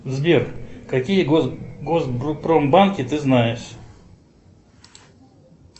сбер какие госпромбанки ты знаешь